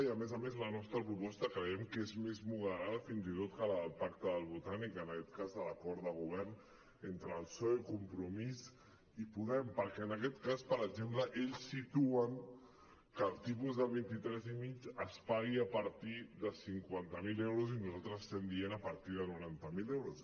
i a més a més la nostra proposta creiem que és més moderada fins i tot que la del pacte del botànic en aquest cas de l’acord de govern entre el psoe compromís i podem perquè en aquest cas per exemple ells situen que el tipus del vint tres coma cinc es pagui a partir de cinquanta miler euros i nosaltres estem dient a partir de noranta miler euros